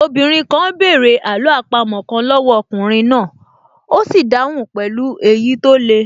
Obìnrin náà bẹ̀rẹ̀ àló àpamọ́ kan lọ́wọ́ ọkùnrin náà, ó sì dáhùn pẹ̀lú èyí tó le